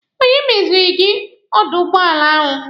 Onye meziri gị dọọlụ ụgbọala ahụ?